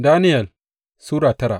Daniyel Sura tara